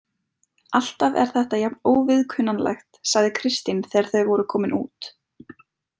Alltaf er þetta jafn óviðkunnanlegt, sagði Kristín þegar þau voru komin út.